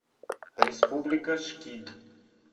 республика шкид